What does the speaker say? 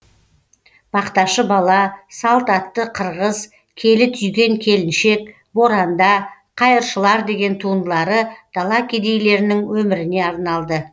бақташы бала салт атты қырғыз келі түйген келіншек боранда қайыршылар деген туындылары дала кедейлерінің өміріне арналды